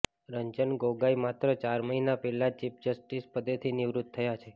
રંજન ગોગોઇ માત્ર ચાર મહિના પહેલા જ ચીફ જસ્ટિસના પદેથી નિવૃત્ત થયા છે